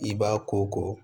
I b'a ko ko